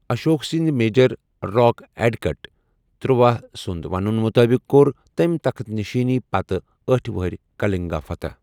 اشوک سٕنٛد major rock edict ترٗوہَ سنٛد وننہٕ مطٲبق کوٚر تٔمۍ تخت نشینی پتہٕ آٹھہٕ وُہٕر کلنگا فتح۔